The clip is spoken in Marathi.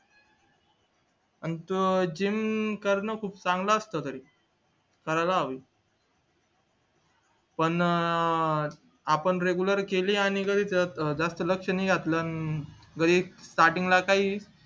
अं gym करणं खूप चांगलं असतं तरी करायला हवी पण अं आपण regular केली आणि जरी जास्त लक्ष नाही घातलं जरी statrting ला काही